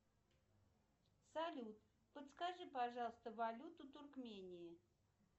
салют подскажи пожалуйста валюту туркмении